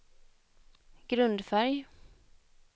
grundfärg